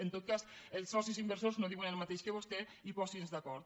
en tot cas els socis inversors no diuen el mateix que vostè i posin se d’acord